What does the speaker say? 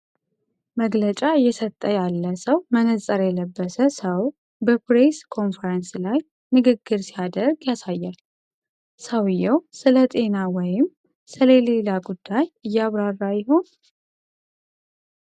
መግለጫ እየሰጠ ያለ ሰው መነጽር የለበሰ ሰው በፕሬስ ኮንፈረንስ ላይ ንግግር ሲያደርግ ያሳያል። ሰውየው ስለጤና ወይም ስለሌላ ጉዳይ እያብራራ ይሆን?